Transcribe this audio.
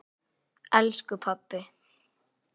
elsku pabbi.